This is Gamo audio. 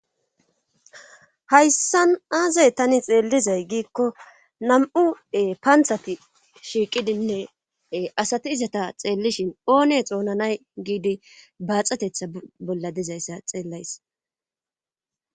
Hayssan aazay tani xeellizay giikko nam'ue paanthati shiiqidinne asati izata xeellishin oone xoonanay giidi baaxatetha bolla dizayssa xeellays.